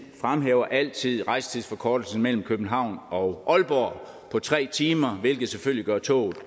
fremhæver altid rejsetidsforkortelsen mellem københavn og aalborg nu tre timer hvilket selvfølgelig gør toget